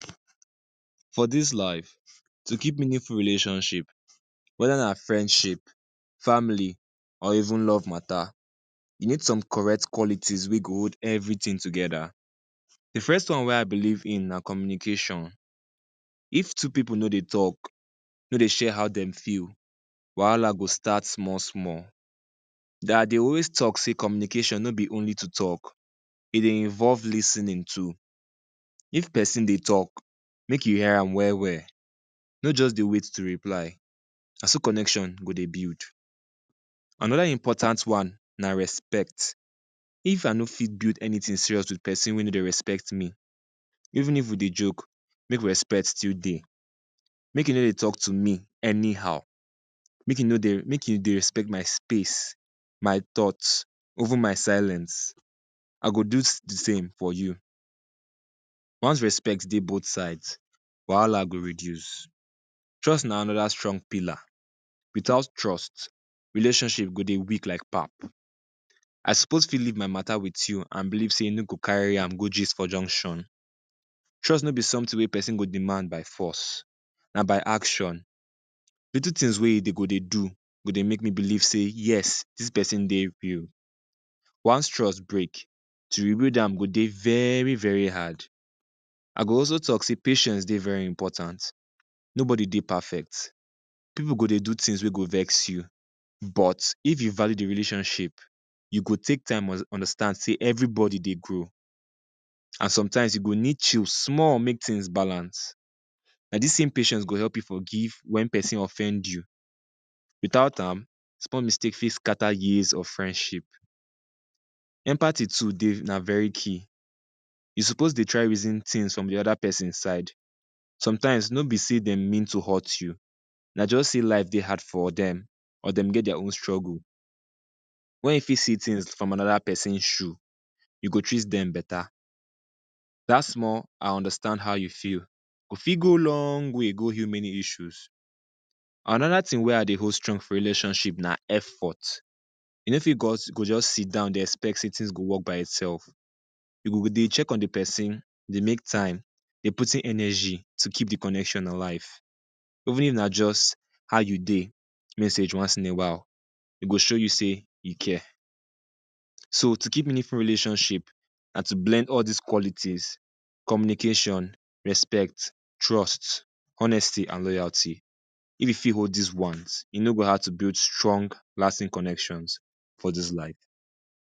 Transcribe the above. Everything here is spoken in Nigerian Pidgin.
For dis life, to keep meaningful relationship, whether na friendship, family, or even love matter, you need some correct qualities wey go hold everything together. The first one wey I believe in na communication. If two pipu no dey talk, no dey share how dem feel, wahala go start small-small. Dey always talk sey communication no be only to talk, e dey involve lis ten ing too. If peson dey talk, make you hear am well-well, no juz dey wait to reply. Na so connection go dey build. Another important one na respect. If I no fit build anything serious with peson wey no dey respect me, even if we dey joke, make respect still dey. Make e no dey talk to me anyhow, make e no dey make e dey respect my space, my thought, even my silence. I go do the same for you. Once respect dey both sides, wahala go reduce. Trust na another strong pillar. Without trust, relationship go dey weak like pap. I suppose fit leave my matter with you an believe sey you no go carry am go gist for junction. Trust no be something wey peson go demand by force, na by action. Little tins wey you dey go dey do go dey make me believe sey yes, dis peson dey real. Once trust break, to rebuild am go dey very-very hard. I go also talk sey patience dey very important. Nobody dey perfect, pipu go dey do tins wey go vex you, but if you value the relationship, you go take time understand sey everybody dey grow, an sometimes, you go need chill small make tins balance. Na dis same patience go help you forgive wen peson offend you. Without am, small mistake fit scatter years of friendship. Empathy too dey, na very key. You suppose dey try reason tins from the other peson side. Sometimes, no be sey dem mean to hurt you, na juz sey life dey hard for dem or dem get dia own struggle. Wen you fit see tins from another peson shoe, you go treat dem beta. Dat small “I understand how you feel,” go fit go long way go heal many issues. Another tin wey I dey hold strong for relationship na effort. You no fit you go juz sit down dey expect sey tins go work by itsef. You go dey check on the peson, dey make time, dey put in energy to keep the connection alive. Even if na juz “How you dey?” message once in a while, e go show you sey e care, So, to keep meaningful relationship na to blend all dis qualities: communication, respect, trust, honesty, an loyalty. If you fit hold dis ones, e no go hard to build strong lasting connections for dis life.